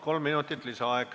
Kolm minutit lisaaega.